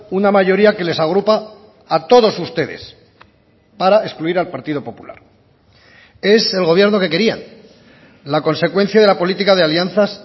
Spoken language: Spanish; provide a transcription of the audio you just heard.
una mayoría que les agrupa a todos ustedes para excluir al partido popular es el gobierno que querían la consecuencia de la política de alianzas